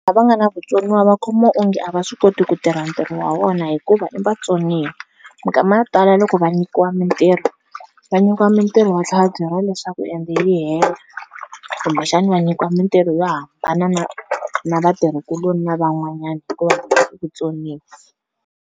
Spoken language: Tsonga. Lava nga na vutsoniwa va khomiwa onge a va swi koti ku tirha ntirho wa vona hikuva i vatsoniwa, minkama ya ku tala loko va nyikiwa mintirho, va nyikiwa mintirho va tlhe va byeriwa leswaku ende yi hela kumbexani va nyikiwa mintirho yo hambana na na vatirhikuloni lavan'wanyani hikuva vona i vutsoniwa.